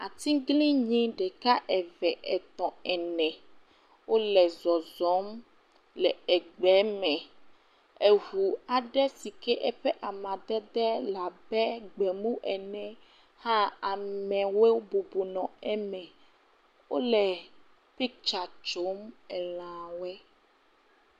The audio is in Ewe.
Atiglinyi ɖeka, eve, etɔ, ene wole zɔzɔm le egbe me, eŋu aɖe sike eƒe amadede le abe gbemumu ene hã amewo bubɔbɔ eme. Wole picture tsom elã woe.